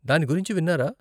దాని గురించి విన్నారా?